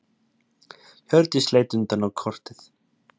Hjördís leit undrandi á kortið.